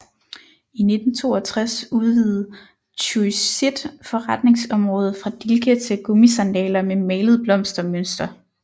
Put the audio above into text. I 1962 udvide Tsuji sit forretningsområde fra dilke til gummisandaler med malet blomstermønster